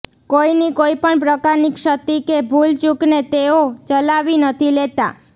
કોઈની કોઈપણ પ્રકારની ક્ષતિ કે ભૂલચૂકને તેઓ ચલાવી નથી લેતા